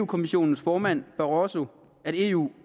kommissionens formand barroso at eu